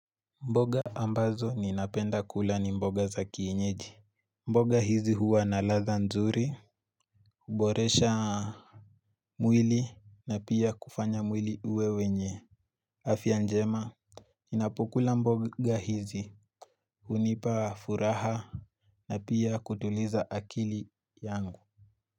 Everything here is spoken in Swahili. Mboga ambazo ninapenda kula ni mboga za kienyeji. Mboga hizi huwa na ladha nzuri kuboresha mwili, na pia kufanya mwili uwe wenye afya njema Ninapokula mboga hizi, hunipa furaha na pia kutuliza akili yangu.